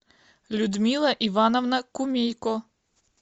людмила ивановна кумейко